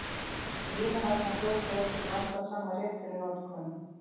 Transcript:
Límið harðnar fljótt og er því blandað saman rétt fyrir notkun.